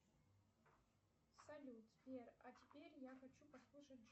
салют сбер а теперь я хочу послушать